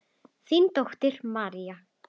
Þín dóttir María.